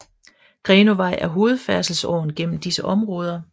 Grenåvej er hovedfærdselsåren gennem disse områder